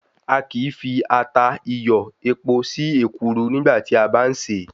A kìí fi ata, iyọ̀, epo sí èkuru nígbà tí a bá ń ṣè é.